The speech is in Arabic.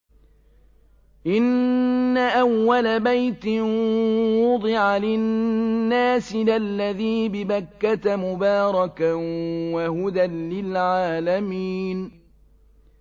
إِنَّ أَوَّلَ بَيْتٍ وُضِعَ لِلنَّاسِ لَلَّذِي بِبَكَّةَ مُبَارَكًا وَهُدًى لِّلْعَالَمِينَ